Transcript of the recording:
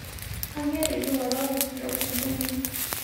Aanyo payie iwororo ntokitin kunini